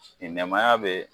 ni nɛmaya be